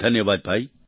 ધન્યવાદ ભાઈ